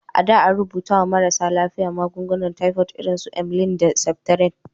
A da, an rubuta wa marasa lafiya magungunan tifod irin su emgyl da septrin.